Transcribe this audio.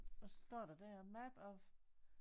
Hvad står der der map of